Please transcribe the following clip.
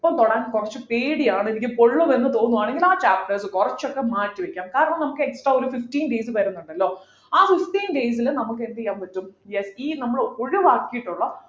ഇപ്പൊ തൊടാൻ കുറച്ചു പേടിയാണ് എനിക്ക് പൊള്ളും എന്ന് തോന്നുകയാണെങ്കിൽ ആ chapters കുറച്ചൊക്കെ മാറ്റിവയ്ക്കുക കാരണം നമുക്ക് extra ഒരു fifteen days വരുന്നുണ്ടല്ലോ ആ fifteen days ലു നമുക്ക് എന്ത് ചെയ്യാൻ പറ്റും yes ഈ നമ്മൾ ഒഴിവാക്കിയിട്ടുള്ള